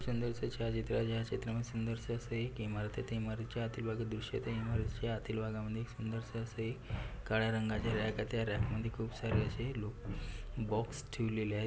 समोरच्या छायाचित्रामध्ये अशा सुंदरस असे एक इमारत आहेत त्या इमारतीच्या आतील भागातील दृश्य त्या इमारतीच्या आतील भागामध्ये एक सुंदरस असं काळ्या रंगाचे रॅक आहे त्या रॅक मध्ये खूप सारे असे बॉक्स ठेवलेले आहेत.